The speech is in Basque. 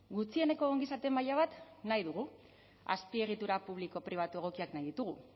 gutxieneko ongizate maila bat nahi dugu azpiegitura publiko pribatu egokiak nahi ditugu